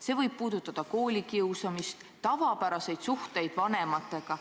See võib puudutada koolikiusamist, tavapäraseid suhteid vanematega.